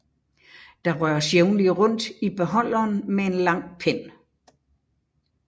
Der røres jævnligt rundt i beholderen med en lang pind